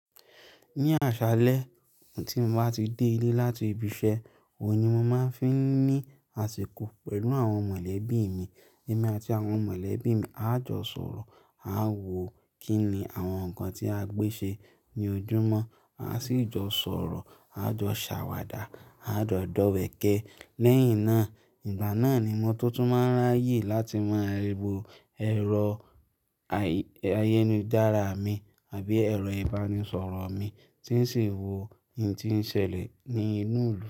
Ní àṣálẹ́ tí mo bá ti dé ilé láti ibi iṣẹ́, òun ni mo máa ń fi ní àsìkò pẹ̀lú àwọn mọ̀lẹ́bí mi. Ẹ̀mi àti àwọn mọ̀lẹ́bí mi a jọ sọ̀rọ̀, a wò kí ni àwọn nǹkan tí a gbé ṣe ní ojúmọ́, a sì jọ sọ̀rọ̀, a jọ ṣàwàdà, a jọ dọ̀wẹ̀kẹ̀. Lẹ́yìn náà, ìgbà náà ni mo tútù máa ń ráyè láti máa ríbo ẹ̀rọ ayélujára mi àbí ẹ̀rọ ìbánisọ̀rọ̀ mi tí ń sì wo ohun tí ń ṣẹlẹ̀ ní inú ìlú.